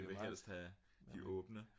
de vil helst have de åbne